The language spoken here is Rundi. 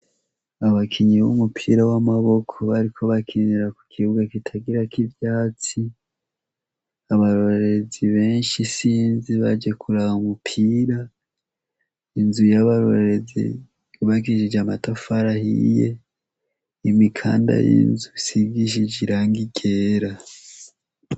Abakinyi b'umupira w'amaboko, bariko bakinira ku kibuga kitagirako ivyatsi Abarorerezi benshi isinzi baje kuraba umupira, inzu yabarorerezi yubakishije amatafari ahiye, imikanda y'inzu isigishije irangi ryera.